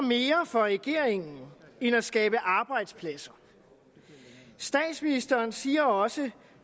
mere for regeringen end at skabe arbejdspladser statsministeren siger også